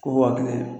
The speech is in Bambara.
Ko waa kelen